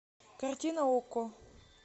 картина окко